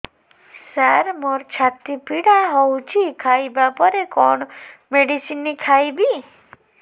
ସାର ମୋର ଛାତି ପୀଡା ହଉଚି ଖାଇବା ପରେ କଣ ମେଡିସିନ ଖାଇବି